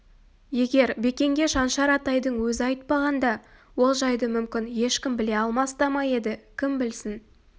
егер бекенге шаншар атайдың өзі айтпағанда ол жайды мүмкін ешкім біле алмас та ма еді кім білсін